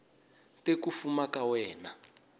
te ku fuma ka wena